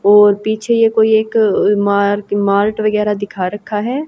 और पीछे ये कोई एक मार्क मार्ट वगैरा दिखा रखा है।